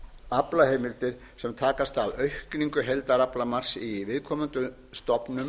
aflaheimildir sem takast af aukningu heildaraflamarks í viðkomandi stofnun